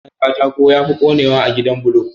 Gidan Katako yafi konewa da gidan bulo